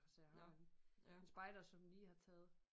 Så jeg har en en spejder som lige har taget